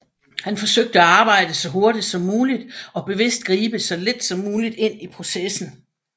Han forsøgte at arbejde så hurtigt som muligt og bevidst gribe så lidt som muligt ind i processen